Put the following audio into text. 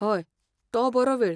हय, तो बरो वेळ.